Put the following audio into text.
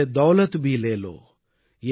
यह दौलत भी ले लो